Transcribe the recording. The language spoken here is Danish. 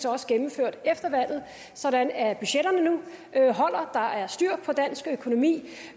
også gennemført efter valget sådan at budgetterne nu holder der er styr på dansk økonomi det